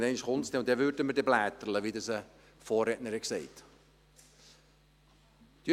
Aber irgendeinmal stünde es an, und dann würden wir «bläterle», wie dies ein Vorredner gesagt hat.